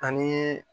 Ani